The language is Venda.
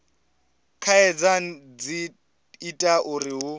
khaedu dzi ita uri hu